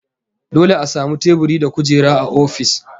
Dole a samu teburi da kujera a ofis